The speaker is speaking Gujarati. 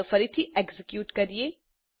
ચાલો ફરીથી એક્ઝીક્યુટ કરીએ